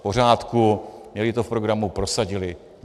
V pořádku, měli to v programu, prosadili.